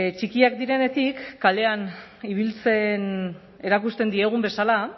txikiak direnetik kalean ibiltzen erakusten diegun bezala